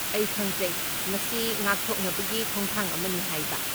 ꯑꯩ ꯈꯪꯖꯩ, ꯃꯁꯤ ꯉꯥꯛꯊꯣꯛꯅꯕꯒꯤ ꯈꯣꯡꯊꯥꯡ ꯑꯃꯅꯤ ꯍꯥꯏꯕ꯫